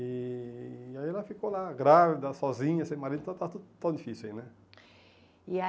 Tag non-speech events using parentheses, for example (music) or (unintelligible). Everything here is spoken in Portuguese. E aí ela ficou lá, grávida, sozinha, sem marido, então estava tudo (unintelligible) difícil aí, né.